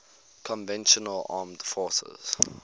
conventional armed forces